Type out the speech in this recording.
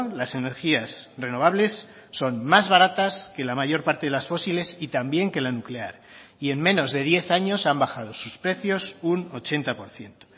las energías renovables son más baratas que la mayor parte de las fósiles y también que la nuclear y en menos de diez años han bajado sus precios un ochenta por ciento